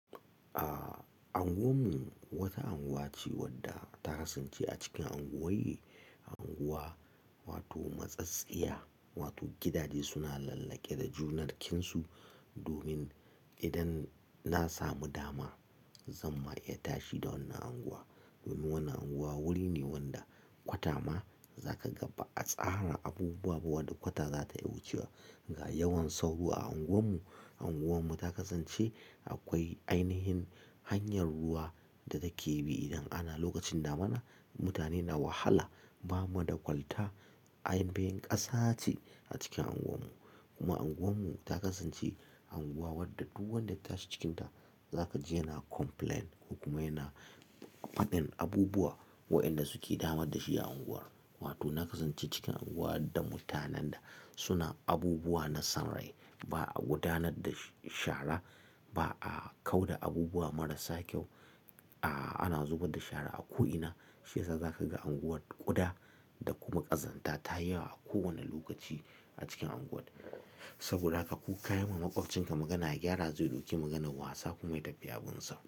Aaa, unguwarmu wata unguwa ce wadda ta kasance a cikin unguwaye. A unguwa wato matsatsiyya wato gidaje suna lallake da junar jikinsu domin idan na samu dama zan ma iya tashi da wannan unguwa. Domin wannan unguwa wuri ne wanda kwata ma zaka ga ba'a tsara abubuwa ba wadda kwata za ta iya wucewa. Ga yawan sauro a unguwar mu, unguwarmu ta kasance akwai ainihin hanyar ruwa da take bi idan ana lokacin damana mutane na wahala. Ba mu da kwalta ainihin ƙasa ce a cikin unguwarmu. Kuma unguwarmu ta kasance unguwa wadda duk wanda ya tashi cikinta zaka ji yana complaint. Hukumai na faɗin abubuwa wa'inda suke damar da shi a unguwar. Wato na kasance cikin unguwa da mutanen da suna abubuwa na son rai. Ba'a gudanar da shara ba'a kau da abubuwa marasa kyau. Aaa, ana zubar da shara a ko'ina shi yasa zaka ga unguwar ƙuda da kuma ƙazanta tayi yawa a kowane lokaci a cikin unguwar. Saboda haka ko kayi ma makwabcinka magana ya gyara zai ɗauki maganar wasa kuma ya tafi yabunsa.